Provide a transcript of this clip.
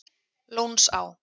Lónsá